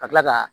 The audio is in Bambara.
Ka kila ka